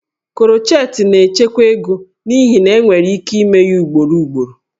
Crochet na-echekwa ego n'ihi na enwere ike ime ya ugboro ugboro